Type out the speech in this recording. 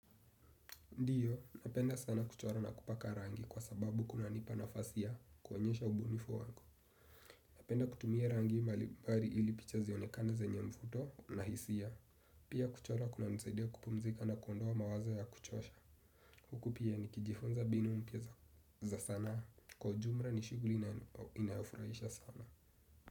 Ndiyo, napenda sana kuchora na kupaka rangi kwa sababu kuna nipa nafasi ya kwonyesha ubunifu wangu. Napenda kutumia rangi mbalibari ili picha zionekana zenye mfuto na hisia. Pia kuchora kunani zaidia kupumzika na kuondoa mawazo ya kuchosha. Hukupia ni kijifunza mbinu mpya za sana kwa jumra ni shuguli inayofurahisha sana.